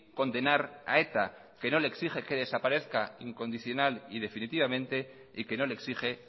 condenar a eta que no le exige que desaparezca incondicional y definitivamente y que no le exige